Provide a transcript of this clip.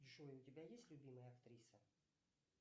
джой у тебя есть любимая актриса